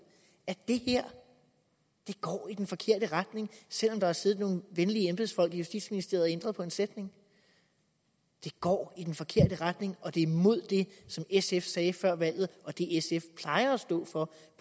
at det her går i den forkerte retning selv om der har siddet nogle venlige embedsfolk i justitsministeriet og ændret på en sætning det går i den forkerte retning og det er imod det som sf sagde før valget og det sf plejer at stå for